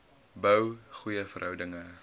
bou goeie verhoudinge